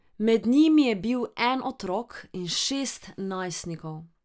Med njimi je bil en otrok in šest najstnikov.